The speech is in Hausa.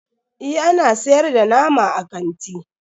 Eh ana siyar da nama a kanti.